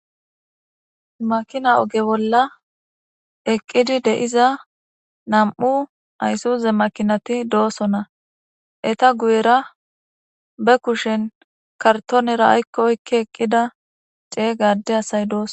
makina oge bolla eqqidi de'iza nam'u ayssuze makinati doosonna eta guyera be kushen kartonera aykko oyikki eqqida cega adde asay doosona